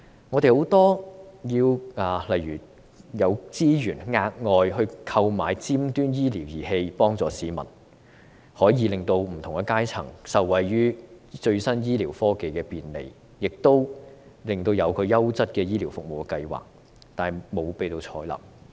我們有很多建議，例如調撥額外資源購買尖端醫療儀器幫助市民，可以令不同階層受惠於最新醫療科技的便利，亦有個優質醫療服務的計劃，但皆未獲採納。